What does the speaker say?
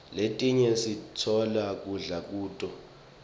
letinye sitfola kudla kuto